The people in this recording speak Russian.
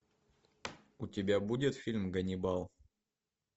у тебя будет фильм ганнибал